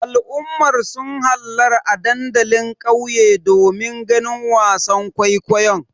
Al'ummar sun hallara a dandalin ƙauye domin ganin wasan kwaikwayon.